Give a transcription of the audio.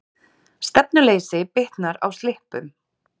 Stefnuleysi bitnar á slippum